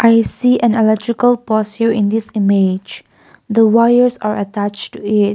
we see an electrical post in this image the wires are attached the--